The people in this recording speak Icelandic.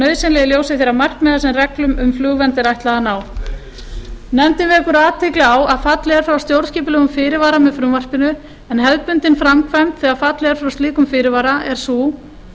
nauðsynlega í ljósi þeirra markmiða sem reglum um flugvernd er ætlað að ná nefndin vekur athygli á að fallið er frá stjórnskipulegum fyrirvara með frumvarpinu en hefðbundin framkvæmd þegar fallið er frá slíkum fyrirvara er sú